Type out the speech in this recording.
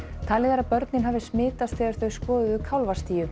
talið er að börnin hafi smitast þegar þau skoðuðu